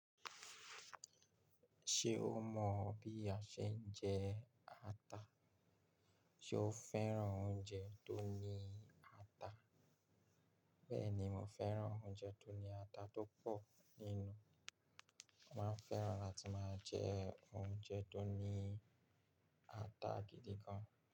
Ṣé o mọ̀ bí a ṣe ń jẹ ata? Sé o fẹ́ràn oúnjẹ tó ní ata? Bẹ́ẹ̀ ni, mo fẹ́ràn oúnjẹ tó ní ata tó pọ̀ nínú. Mo máa fẹ́ràn láti máa jẹ oúnjẹ tó ní ata gidi gan.